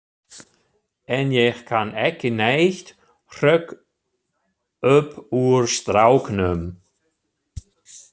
En ég kann ekki neitt, hrökk upp úr stráknum.